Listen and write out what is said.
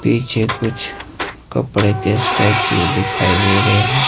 पीछे कुछ कपड़े के स्टैचू दिखाई दे रहें हैं।